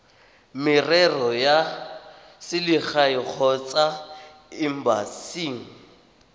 merero ya selegae kgotsa embasing